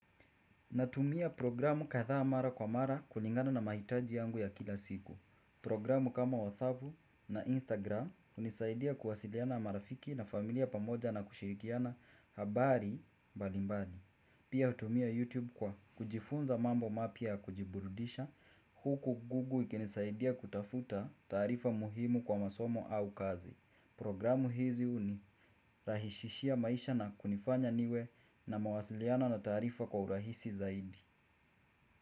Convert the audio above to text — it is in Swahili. Natumia programu kadhaa mara kwa mara kulingana na mahitaji yangu ya kila siku. Programu kama WhatsApp na Instagram unisaidia kuwasiliana marafiki na familia pamoja na kushirikiana habari mbalimbali. Pia utumia YouTube kwa kujifunza mambo mapia ya kujiburudisha huku google ikinisaidia kutafuta taarifa muhimu kwa masomo au kazi. Programu hizi uni rahishishia maisha na kunifanya niwe na mawasiliana na taarifa kwa urahisi zaidi.